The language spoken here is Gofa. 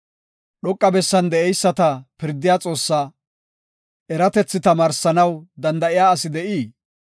“Dhoqa bessan de7eyisata pirdiya Xoossaa, eratethi tamaarsanaw danda7iya asi de7ii?